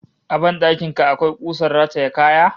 A ban dakin ka akwai kusar rataye kaya?